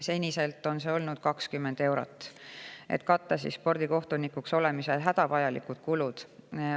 Seni on see olnud 20 eurot, et katta spordikohtunikuks olemisel hädavajalikud kulud.